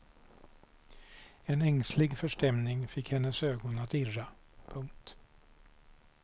En ängslig förstämning fick hennes ögon att irra. punkt